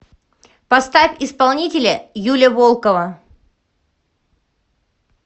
поставь исполнителя юля волкова